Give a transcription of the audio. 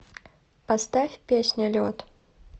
поставь песня лед